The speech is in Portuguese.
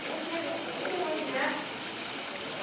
Você nem dá para imaginar.